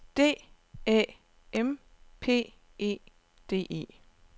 D Æ M P E D E